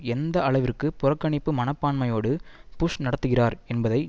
எந்த அளவிற்கு புறக்கணிப்பு மனப்பான்மையோடு புஷ் நடத்துகிறார் என்பதை